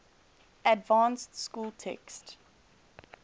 advanced school text